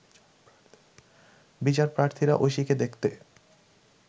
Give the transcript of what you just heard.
বিচারপ্রার্থীরা ঐশীকে দেখতে